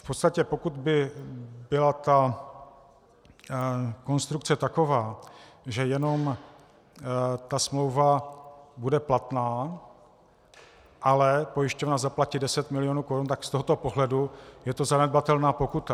V podstatě pokud by byla ta konstrukce taková, že jenom ta smlouva bude platná, ale pojišťovna zaplatí 10 mil. korun, tak z tohoto pohledu je to zanedbatelná pokuta.